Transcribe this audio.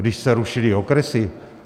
Když se rušily okresy.